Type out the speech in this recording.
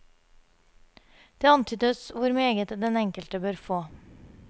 Det antydes hvor meget den enkelte bør få.